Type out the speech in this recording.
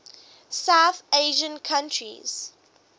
south asian countries